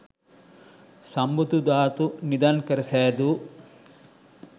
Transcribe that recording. සම්බුදු ධාතු නිධන් කර සෑදූ